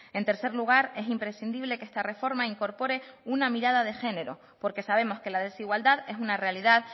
en tercer lugar es imprescindible que esta reforma incorpore una mirada de género porque sabemos que la desigualdad es una realidad